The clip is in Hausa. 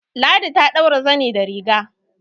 Ladi ta ɗaura zani da riga